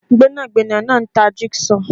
Gbẹ́nàgbẹ́nà náà ń tà jig saw